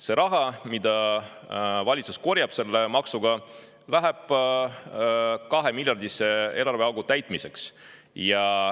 See raha, mida valitsus selle maksuga korjab, läheb 2‑miljardilise eelarveaugu täitmiseks.